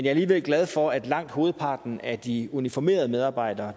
er alligevel glad for at langt hovedparten af de uniformerede medarbejdere